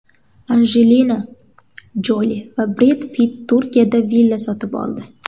Anjelina Joli va Bred Pitt Turkiyada villa sotib oldi.